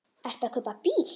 Ertu að kaupa bíl?